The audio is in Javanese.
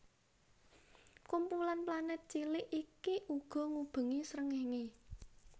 Kumpulan planet cilik iki uga ngubengi srengenge